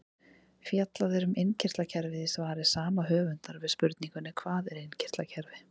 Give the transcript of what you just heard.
Fjallað er um innkirtlakerfið í svari sama höfundar við spurningunni Hvað er innkirtlakerfi?